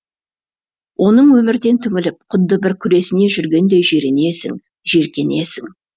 оның өмірден түңіліп құдды бір күресіне жүргендей жиренесің жиіркенесің